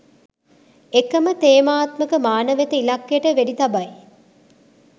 එකම තේමාත්මක මාන වෙත ඉලක්කයට වෙඩි තබයි